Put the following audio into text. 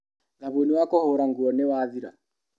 Thabuni wa kũhũra nguo nĩwathira.